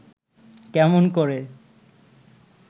কেমন করে